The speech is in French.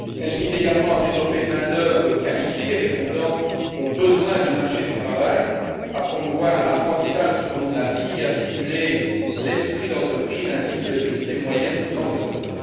Elles visent également à développer une main d'œuvre qualifiée répondant aux besoins du marché du travail, à promouvoir l'apprentissage tout au long de la vie et à stimuler l'esprit d'entreprise ainsi que les petites et moyennes entreprises.